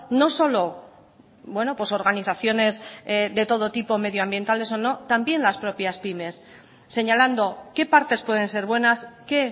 no solo organizaciones de todo tipo medioambientales o no también las propias pymes señalando qué partes pueden ser buenas qué